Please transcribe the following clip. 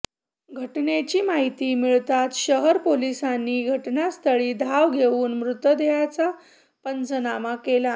घटनेची माहिती मिळाताच शहर पोलीसांनी घटनास्थळी धाव घेवून मृतदेहाचा पंचनामा केला